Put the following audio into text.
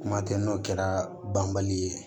Kuma tɛ n'o kɛra banbali ye